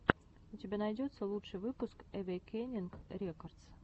у тебя найдется лучший выпуск эвейкенинг рекордс